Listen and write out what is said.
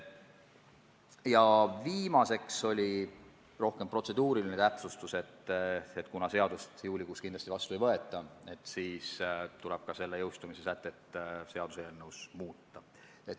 Ja viimaseks oli kõne all rohkem protseduuriline täpsustus, et kuna seadust juulikuus kindlasti vastu ei võeta, siis tuleb ka selle jõustumise sätteid eelnõus muuta.